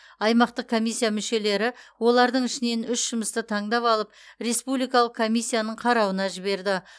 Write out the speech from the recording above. аймақтық комиссия мүшелері олардың ішінен үш жұмысты таңдап алып республикалық комиссияның қарауына жіберді